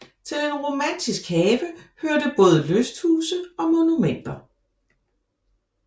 Til en romantisk have hørte både lysthuse og monumenter